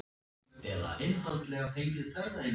Ertu að segja mér að þú sért.